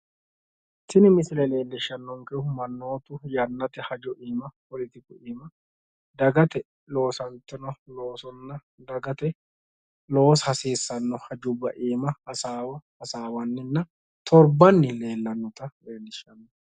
Tini misile leellishshannonkkehu mannootu yannate hajo iima dagate loosantino loosonna dagate loosa hasiissanno hajubba iima hasaawa hasaawanninna torbbanni leellannota leellishshanno.